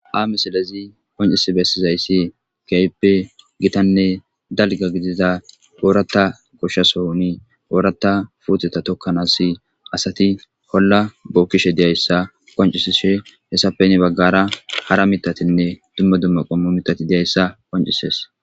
amisilezi qoncisi bessizayssi keype gitanne dalga gidida oorata koshshasohoni oorata fuuxeta tokkanas asati holla bookkishe diyayssa qoncisishe hessapeni baggara hara mitatinne dumma dumma qommo mitati diyayssa qoncises